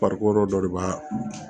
dɔ de b'a